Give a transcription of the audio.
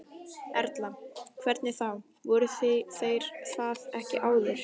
Erla: Hvernig þá, voru þeir það ekki áður?